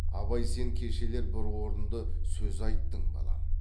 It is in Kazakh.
абай сен кешелер бір орынды сөз айттың балам